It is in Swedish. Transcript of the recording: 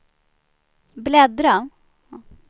bläddra